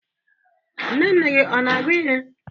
Nne nne gị ọ na-agụ ihe?